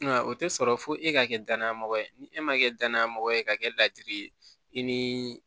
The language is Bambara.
Nka o tɛ sɔrɔ fo e ka kɛ danayamɔgɔ ye ni e ma kɛ danayamɔgɔ ye ka kɛ ladiri ye i ni